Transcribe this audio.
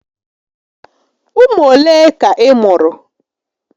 Ụmụ olé ka ị mụ̀rụ̀?